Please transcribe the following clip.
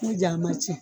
N'o ja ma cɛn